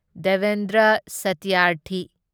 Devendra Satyarthi